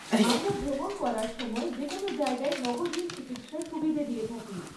আমরা ভ্রমণ করার সময় যেকোনও জায়গায় নগদহীন চিকিৎসার সুবিধে দিয়ে থাকি।